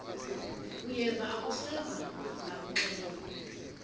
uyeva akuseva ngakuxelelwa